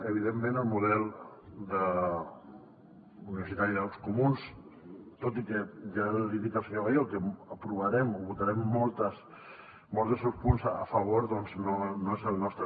evidentment el model universitari dels comuns tot i que ja li dic al senyor gallego que aprovarem o votarem molts dels seus punts a favor doncs no és el nostre